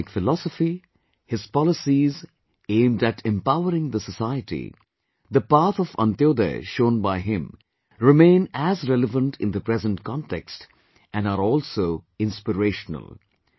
His economic philosophy, his policies aimed at empowering the society, the path of Antyodaya shown by him remain as relevant in the present context and are also inspirational